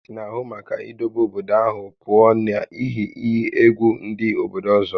Gọọmenti na-ahụ maka idobe obodo ahụ pụọ na ihe iyi egwu ndị obodo ọzọ